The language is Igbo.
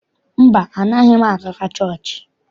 Mba, anaaghị m agakwa chọọchị.